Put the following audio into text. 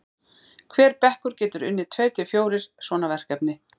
hver bekkur getur unnið tveir til fjórir svona verkefni